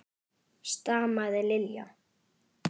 stamaði Lilla.